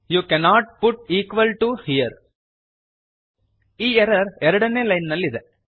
you cannot put equal to here ಈ error 2ನೇ line ನಲ್ಲಿ ಇದೆ